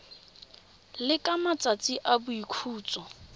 le ka matsatsi a boikhutso